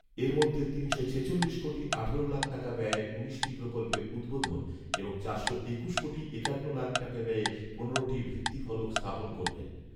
এর মধ্যে তিনশো ছেচল্লিশ কোটি আঠারো লাখ টাকা ব্যয়ে উনিশটি প্রকল্পের উদ্বোধন এবং চারশো একুশ কোটি একান্ন লাখ টাকা ব্যয়ে পনেরোটির ভিত্তিফলক স্থাপন করবেন